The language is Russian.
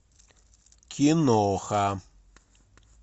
киноха